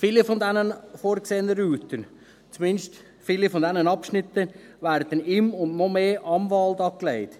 Viele dieser vorgesehenen Routen, zumindest viele der Abschnitte, werden im und noch mehr am Wald angelegt.